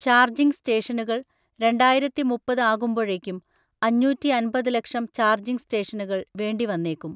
Charging സ്റ്റേഷനുകൾ, രണ്ടായിരത്തിമുപ്പത് ആകുമ്പോഴേക്കും അഞ്ഞൂറ്റിഅൻപത് ലക്ഷം ചാർജിങ് സ്റ്റേഷനുകൾ വേണ്ടിവന്നേക്കും.